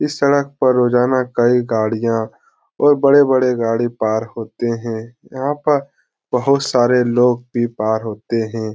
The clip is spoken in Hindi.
इस सड़क पे रोजाना कई गाड़ियां और बड़े-बड़े गाड़ी पार होते है यहां पर बहुत सारे लोग भी पार होते है।